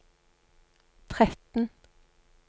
tretten